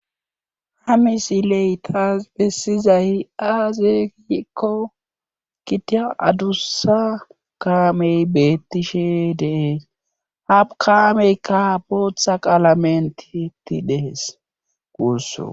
Ha misiley taas bessizay aazeekikko kitia adussa kaamey beettishe dees hap kaameykka abootha qaalamentieti dehes quusso.